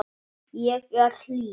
Ég er hlý.